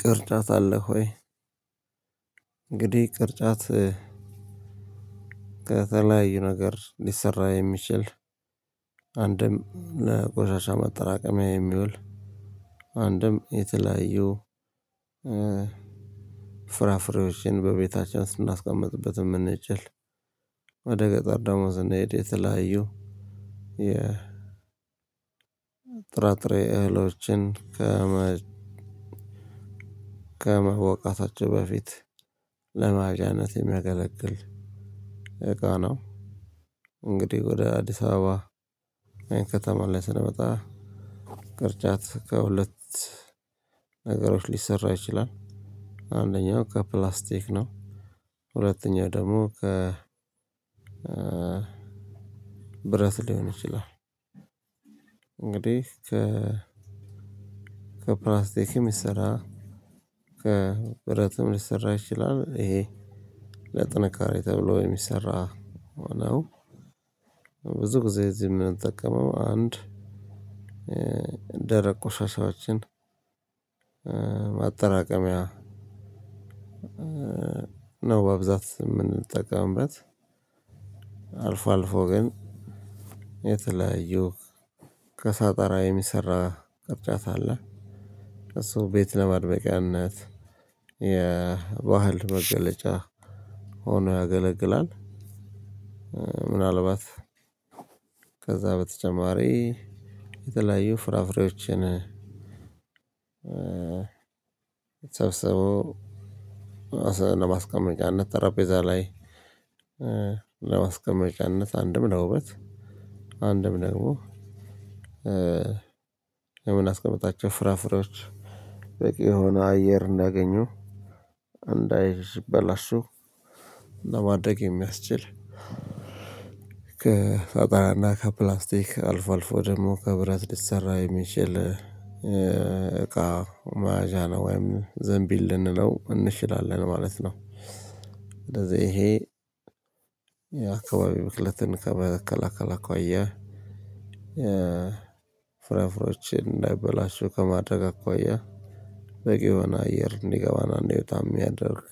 ቅርጫት አለ ሆይ እንግዲህ ቅርጫት ከተለያዩ ነገር ሊሰራ የሚችል አንድም ለቆሻሻ መጠራቀሚያ የሚውል አንድም የተለያዩ ፍራፍሬዎችን በቤታችን ስናስቀምጥበት የምንችል ወደ ገጠር ደግሞ ስናይ የተለያዩ የጥራጥሬ እህሎችን ከመወቃታቸው በፊት ለመያዣነት የሚያገለግል እቃ ነው። እንግዲህ ወደ አዲስ አበባ ከተማ ላይ ስንመጣ ቅርጫት ከሁለት ነገሮች ሊሰራ ይችላል። አንደኛው ከፕላስቲክ ነው ሁለተኛ ደግሞ ከ ብረት ሊሆን ይችላል። እንግዲህ ከ ከፕላስቲክ የሚሰራ ከብረትም ሊሰራ ይችላል ይሄ ለጥንካሬ ተብሎ የሚሰራ ሆኖ ሆነው ብዙ ጊዜ እዚህ የምንጠቀመው አንድ ደረቅ ቆሻሻዎችን ማጠራቀሚያ ነው። በብብዛት የምንጠቀምበት አልፎ አልፎ ግን የተለያዩ ከሳጥራ የሚሰራ ቅርጫት አለ እሱ ቤት ለማድረቂያነት የባህል መገለጫ ሆኖ ያገለግላል። ምናልባት ከዛ በተጨማሪ የተለያዩ ፍራፍሬዎችን ሰብስበው ለማስቀመጫነት ጠረቤዛ ላይ ለማስቀመጫነት አንድም ለውበት አንድም ደግሞ የምናስቀምጣቸው ፍራፍሬዎች በቂ የሆነ አየር እንዳገኙ እንዳይበላሹ ለማድረግ የሚያስችል ከሳጠራና ከፕላክስቲክ አልፎ አልፎ ደግሞ ከብረት ሊሰራ የሚችል እቃ መያዣ ነው ወይም ዘንቢል ልንለው እንችላለን ማለት ነው። ስለዚህ ይሄ የአካባቢ ብክለትን ከመከላከል አኳያ ፍራፍሬዎችን እንዳይበላሹ ከማድረግ አኳያ በቂ የሆነ አየር እንዲገባ እና እንዲወጣ የሚያደርግ